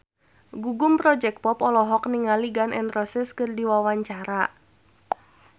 Gugum Project Pop olohok ningali Gun N Roses keur diwawancara